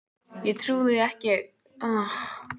Ég trúði ekki því sem var að gerast og dofnaði öll upp.